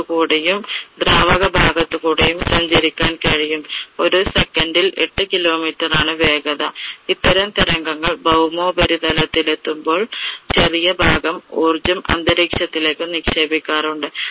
ദ്രാവക ഭാഗത്തു കൂടെയും സഞ്ചരിക്കാൻ കഴിയും. ഒരു second ൽ എട്ടു kilometer ണ് വേഗത. ഇത്തരം തരംഗങ്ങൾ ഭൗമോപരിതലത്തിൽ എത്തുമ്പോൾ ചെറിയ ഭാഗം ഊർജം അന്തരീക്ഷത്തിലേക്ക് നിക്ഷേപിക്കാറുണ്ട്.